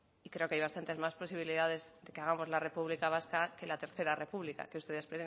y creo que hay bastantes más posibilidades de que hagamos la república vasca que la tercera república que ustedes